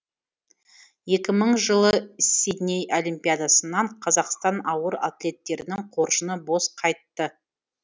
екі мың жылы сидней олимпиадасынан қазақстан ауыр атлеттерінің қоржыны бос қайтты